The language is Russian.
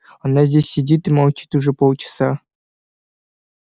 она здесь сидит и молчит уже полчаса